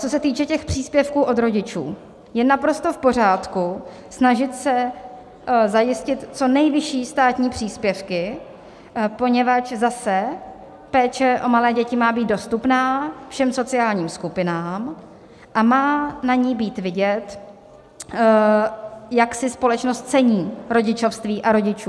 Co se týče těch příspěvků od rodičů, je naprosto v pořádku snažit se zajistit co nejvyšší státní příspěvky, poněvadž zase péče o malé děti má být dostupná všem sociálním skupinám a má na ní být vidět, jak si společnost cení rodičovství a rodičů.